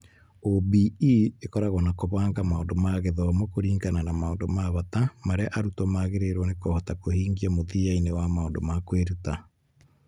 OBE ĩkoragwo na kũbanga maũndũ ma gĩthomo kũringana na maũndũ ma bata marĩa arutwo magĩrĩirũo nĩ kũhota kũhingia mũthia-inĩ wa maũndũ ma kwĩruta.